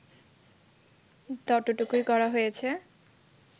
ততটুকুই করা হয়েছে